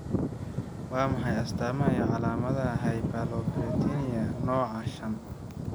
Waa maxay astamaha iyo calaamadaha Hyperlipoproteinemia nooca shaan?